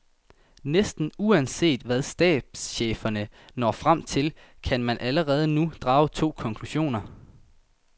Næsten uanset hvad stabscheferne når frem til, kan man allerede nu drage to konklusioner.